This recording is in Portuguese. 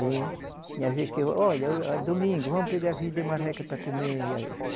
E tinha vez que eu, olha, é domingo, vamos pegar filho de marreca para comer.